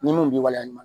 Ni mun b'i waleya